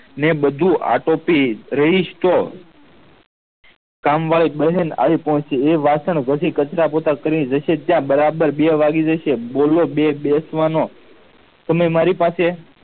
ને બધું આટોપી રેઈસ્તોપ કામવાળી બને ને એ વાસણ ઘસી કચરા પોતા કરી ને બરાબર બે વાગી જશે બોલો બે બેસવાનો અનેં મારી પાસે